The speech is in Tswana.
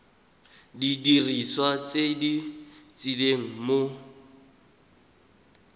didiriswa tse di tshelang mo